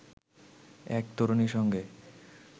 এক তরুণীর সঙ্গে